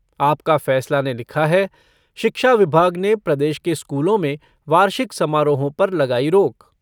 आपका फैसला ने लिखा है शिक्षा विभाग ने प्रदेश के स्कूलों में वार्षिक समारोहों पर लगाई रोक।